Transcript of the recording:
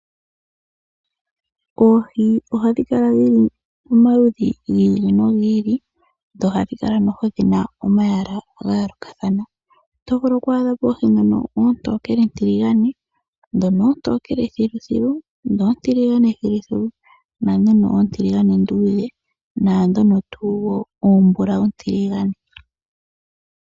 Oohi ohadhi kala dhili momaludhi gi ili nogi ili, dho odhina omalwaala gayoolokathana otovulu oku adha po oohi oontokele-tiligane, dhono oontokele thiluthilu, dhi oontiligane thiluthilu, oontiligane -ndudhe, noshowo oombulawu-ntiligane.